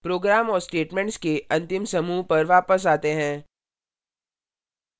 program और statements के अंतिम समूह पर वापस आते हैं